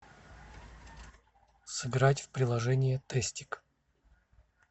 сыграть в приложение тестик